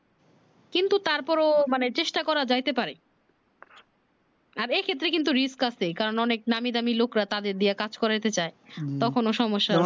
কিন্তু তারপরেও মানে চেষ্টা করা যাইতে পারে আর এক্ষেত্রে কিন্তু riskh আছে কারণ অনেক নামিদামী লোকরা তাদের দিয়ে কাজ করাতে তে চায় তখনও সমস্যা